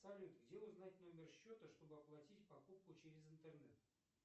салют где узнать номер счета чтобы оплатить покупку через интернет